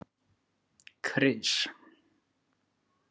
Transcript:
Kris